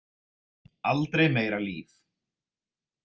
Aldrei meira líf.